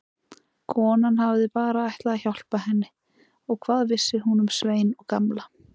Konan hafði bara ætlað að hjálpa henni og hvað vissi hún um Svein og Gamla.